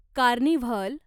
carnival